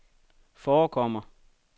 forekommer